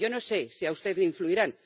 Yo no sé si a usted le influirán